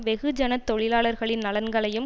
வெகுஜன தொழிலாளர்களின் நலன்களையும்